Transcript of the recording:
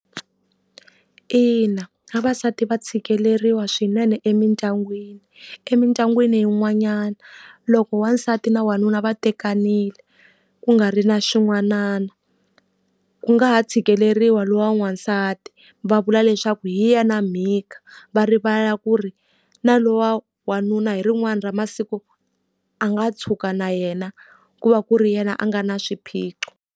Ina vavasati va tshikeleriwa swinene emindyangwini. Emindyangwini yin'wanyana loko wasati na wanuna va tekanile ku nga ri na xin'wanana, ku nga ha tshikeleriwa loyi wa n'wasati. Va vula leswaku hi yena mhika, va rivala ku ri na loyi wa wanuna hi rin'wana ra masiku a nga tshuka na yena ku va ku ri yena a nga na swiphiqo.